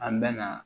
An bɛ na